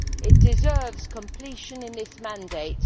It deserves completion in this mandate.